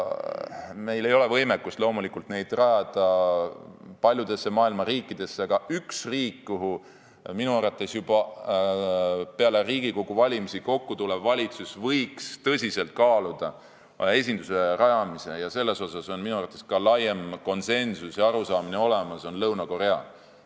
Meil ei ole loomulikult võimekust rajada neid paljudesse maailma riikidesse, aga üks riik, kuhu minu arvates peale Riigikogu valimisi kokkutulev valitsus võiks tõsiselt kaaluda esinduse rajamist – selles on minu arvates ka laiem konsensus ja arusaamine olemas –, on Lõuna-Korea.